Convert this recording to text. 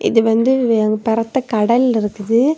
இது வந்து வே பரத்த கடல் இருக்குது.